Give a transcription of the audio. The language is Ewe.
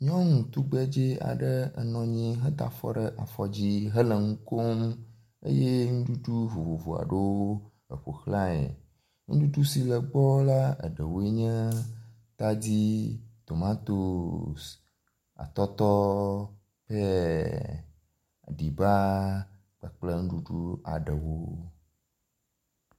Nyɔnu tugbedze aɖe enɔ anyi heda afɔ ɖe afɔ dzi hele nu kom eye nuɖuɖu vovovo aɖewo eƒoxlae. Nuɖuɖu si le egbɔ la eɖewoe nye; tadi, tomatosi, atɔtɔ, peya, aɖiba kpakple nuɖuɖu aɖewo.